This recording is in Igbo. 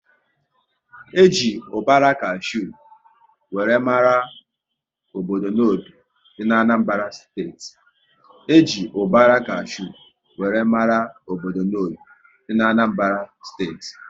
E ji ubara kashew wéré mara obodo Nnobi dị n'Anambara steeti